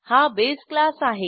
हा base class आहे